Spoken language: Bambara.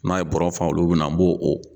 N'a ye bɔrɛ fa olu mina na n b'o o.